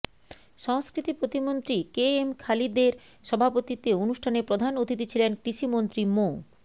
সংস্কৃতি প্রতিমন্ত্রী কেএম খালিদের সভাপতিত্বে অনুষ্ঠানে প্রধান অতিথি ছিলেন কৃষিমন্ত্রী মো